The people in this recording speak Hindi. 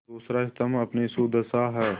दूसरा स्तम्भ अपनी सुदशा है